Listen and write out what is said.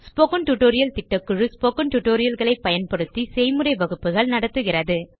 spoken tutorial திட்டக்குழு spoken tutorial களை பயன்படுத்தி செய்முறை வகுப்புகள் நடத்துகிறது